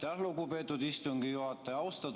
Aitäh, lugupeetud istungi juhataja!